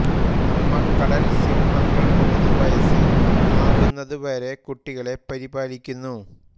അമ്മ കടൽ സിംഹങ്ങൾ മൂന്ന് വയസ്സ് ആകുന്നതു വരെ കുട്ടികളെ പരിപാലിക്കുന്നു